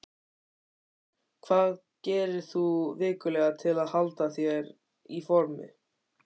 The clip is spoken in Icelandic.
Hvað gerir þú vikulega til að halda þér í formi?